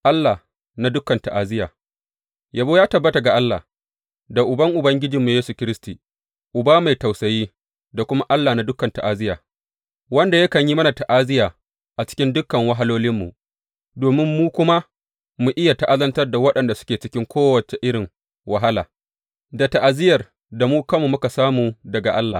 Allah na dukan ta’aziyya Yabo ya tabbata ga Allah, da Uban Ubangijinmu Yesu Kiristi, Uba mai tausayi, da kuma Allah na dukan ta’aziyya, wanda yakan yi mana ta’aziyya a cikin dukan wahalolinmu, domin mu kuma mu iya ta’azantar da waɗanda suke cikin kowace irin wahala, da ta’aziyyar da mu kanmu muka samu daga Allah.